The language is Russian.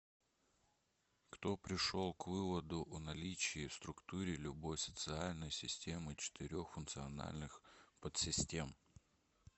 кто пришел к выводу о наличии в структуре любой социальной системы четырех функциональных подсистем